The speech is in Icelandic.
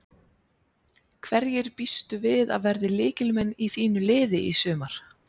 Hverjir býstu við að verði lykilmenn í þínu liði í sumar?